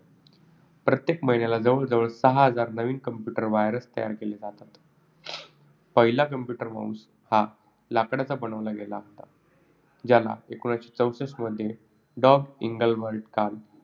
प्रत्येक महिन्याला जवळजवळ सहा हजार नवीन computer virus तयार केले जातात. पहिला computer mouse हा लाकडाचा बनवला गेला होता. ज्याला एकोणीसशे चौसष्ठमध्ये डग एंजेलबर्ट कार्ल